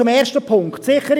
Zu Punkt 1: